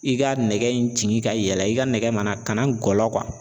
I ka nɛgɛ in ci ka yɛlɛ i ka nɛgɛ mana ka na gɔlɔn.